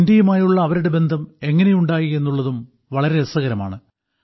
ഇന്ത്യയുമായുള്ള അവരുടെ ബന്ധം എങ്ങിനെയുണ്ടായി എന്നുള്ളതും വളരെ രസകരമാണ്